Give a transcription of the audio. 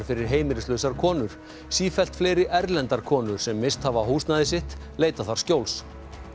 fyrir heimilislausar konur sífellt fleiri erlendar konur sem misst hafa húsnæði sitt leita þar skjóls